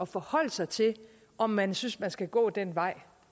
forholde sig til om man synes at man skal gå den vej